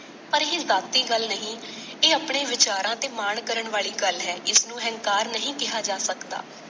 ਪਰ ਇਹ ਗੱਲ ਨਹੀਂ। ਇਹ ਆਪਣੇ ਵਿਚਾਰਾਂ ਤੇ ਮਾਣ ਕਰਨ ਵਾਲੀ ਗੱਲ ਹੈ। ਇਸ ਨੂੰ ਅਹੰਕਾਰ ਨਹੀਂ ਕਿਹਾ ਜਾ ਸਕਦਾ।